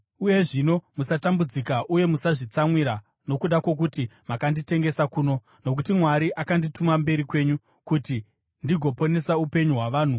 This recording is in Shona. Uye zvino, musatambudzika uye musazvitsamwira nokuda kwokuti makanditengesa kuno, nokuti Mwari akandituma mberi kwenyu kuti ndigoponesa upenyu hwavanhu.